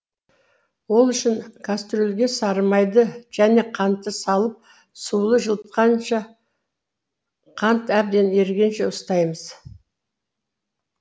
ол үшін кәстрөлге сары майды және кантты салып сулы жылытқышта қант әбден ерігенше ұстаймыз